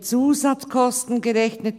] mit Zusatzkosten […